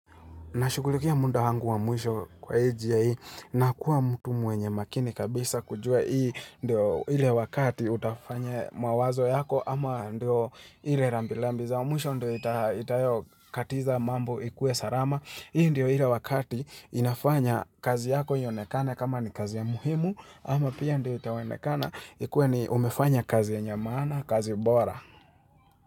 Nashughulikia muda wangu wa mwisho kwa hii njia hii na kuwa mtu mwenye makini kabisa kujua hii ndio ile wakati utafanya mawazo yako ama ndio ile rambirambi za mwisho ndio itayo katiza mambo ikue salama. Hii ndio ile wakati inafanya kazi yako yaonekane kama ni kazi ya muhimu ama pia ndio itayo onekana ikuwe ni umefanya kazi ya maana kazi bora.